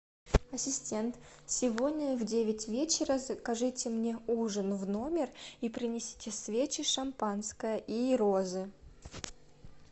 ассистент сегодня в девять вечера закажите мне ужин в номер и принесите свечи шампанское и розы